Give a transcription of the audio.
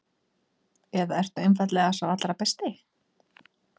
Eða ertu einfaldlega sá allra besti?